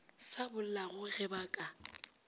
sa bollago ge ba ka